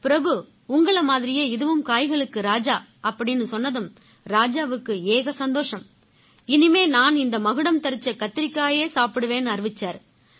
பிரபு உங்களை மாதிரியே இதுவும் காய்களுக்கு ராஜா அப்படீன்னு சொன்னதும் ராஜாவுக்கு ஏக சந்தோஷம் இனிமே நான் இந்த மகுடம் தரிச்ச கத்திரிக்காயையே சாப்பிடுவேன்னு அறிவிச்சாரு